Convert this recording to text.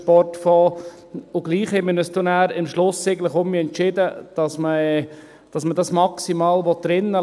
Und trotzdem haben wir uns am Schluss entschieden, dass wir das «maximal» drin lassen wollen.